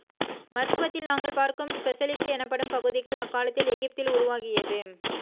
மருத்துவத்தில் நாங்கள் பார்க்கும் ஸ்பெசலிட்டி எனப்படும் பகுதிகள் அக்காலத்தில் எகிப்தில் உருவாகியது